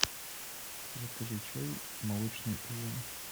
закажи чай молочный улун